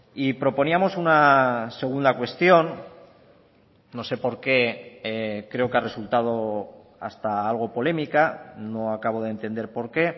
y proponíamos una segunda cuestión no sé por qué creo que ha resultado hasta algo polémica no acabo de entender por qué